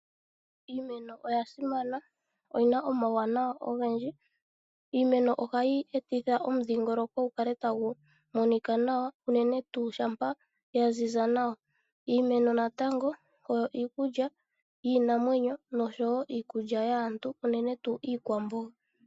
Iimeno oya simana. Oyina omauwanawa ogendji. Iimeno ohayi etitha omudhingoloko gu kale tagu monika nawa unene tuu shampa ya ziza nawa. Iimeno natango oyo iikulya yiinamwenyo noshowo iikulya yaantu unene tuu iikwamboga.